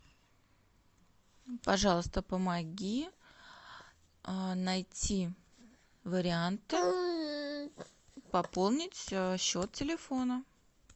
пожалуйста помоги найти варианты пополнить счет телефона